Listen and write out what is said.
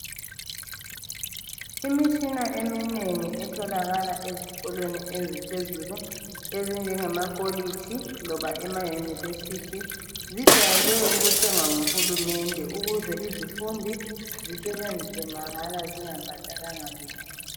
Imitshina eminengi etholakala ezikolweni eziphezulu, ezinje makhilitshi loba emayunivesithi, zijwayele ukuthengwa nguhurumende ukuze izifundi mahala zisebenzise zingabhadalanga lutho.